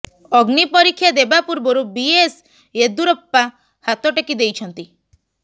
ଅଗ୍ନିପରୀକ୍ଷା ଦେବା ପୂର୍ବରୁ B S Yediyurappa ହାତ ଟେକି ଦେଇଛନ୍ତି